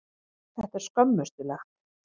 Þetta er skömmustulegt.